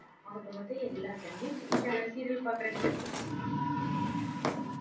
ஆக மொத்தம் எல்லா channel லயும் TV channel serial பாக்குற நீ?